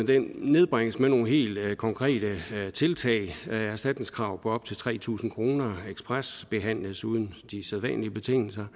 den nedbringes med nogle helt konkrete tiltag erstatningskrav på op til tre tusind kroner ekspresbehandles uden de sædvanlige betingelser